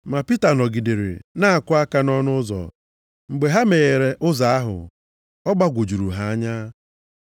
Ma Pita nọgidere na-akụ aka nʼụzọ. Mgbe ha meghere ụzọ hụ ya, ọ gbagwojuru ha anya.